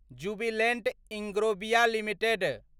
Jubilant Ingrevia limited